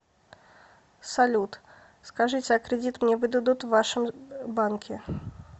салют скажите а кредит мне выдадут в вашем банке